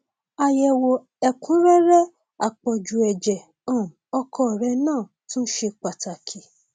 àyẹwò ẹkúnrẹrẹ àpọjù ẹjẹ um ọkọ rẹ náà tún ṣe pàtàkì